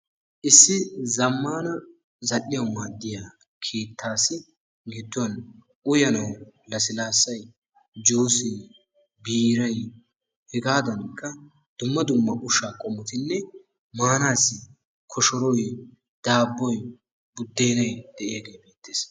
Issi zamman zal''iyawu maddiya keettassi gidduwan uyyanawu lassilaassay, juusse, biiray hegadankka dumma dumma ushshaa qommotinne manassi koshoroy daaboy, budeenay de'iyaage beettees.